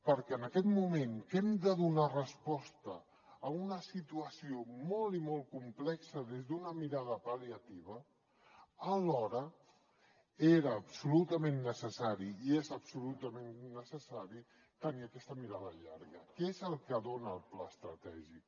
perquè en aquest moment que hem de donar resposta a una situació molt i molt complexa des d’una mirada pal·liativa alhora era absolutament necessari i és absolutament necessari tenir aquesta mirada llarga que és el que dona el pla estratègic